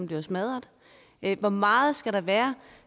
bliver smadret hvor meget skal der være